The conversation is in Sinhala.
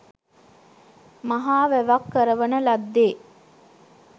මහා වැවක් කරවන ලද්දේ